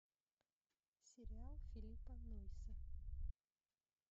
сериал филиппа нойса